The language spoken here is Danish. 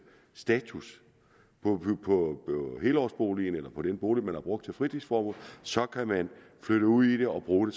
status på helårsboligen eller på den bolig man har brugt til fritidsformål så kan man flytte ud i det og bruge